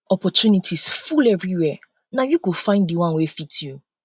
opportunities um full everywhere na you go find di one wey fit you